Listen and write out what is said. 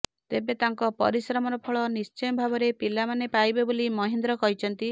ତେବେ ତାଙ୍କ ପରିଶ୍ରମର ଫଳ ନିଶ୍ଚୟ ଭାବରେ ପିଲାମାନେ ପାଇବେ ବୋଲି ମହେନ୍ଦ୍ର କହିଛନ୍ତି